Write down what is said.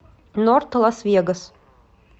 норт лас вегас